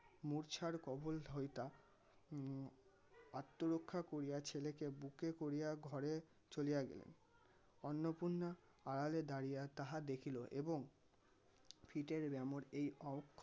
মূর্ছার কবল হইতা উম আত্মরক্ষা করিয়া ছেলেকে বুকে করিয়া ঘরে চলিয়া গেলেন. অন্নপূর্ণার আড়ালে দাঁড়িয়া তাহা দেখিল এবং ফিটের ব্যামোর এই